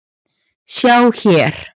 Sjá hér.